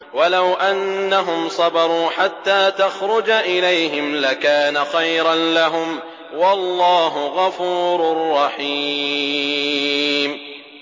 وَلَوْ أَنَّهُمْ صَبَرُوا حَتَّىٰ تَخْرُجَ إِلَيْهِمْ لَكَانَ خَيْرًا لَّهُمْ ۚ وَاللَّهُ غَفُورٌ رَّحِيمٌ